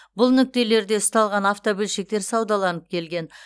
бұл нүктелерде ұсталған автобөлшектер саудаланып келген